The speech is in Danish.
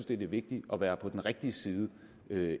det er vigtigt at være på den rigtige side